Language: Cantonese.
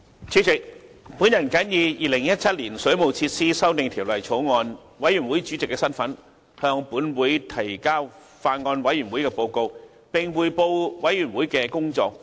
主席，我謹以《2017年水務設施條例草案》委員會主席的身份，向本會提交法案委員會的報告，並匯報委員會的工作重點。